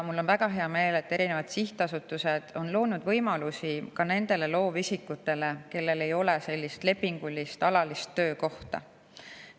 Mul on väga hea meel, et erinevad sihtasutused on loonud võimalusi ka nendele loovisikutele, kellel ei ole alalist lepingulist töökohta.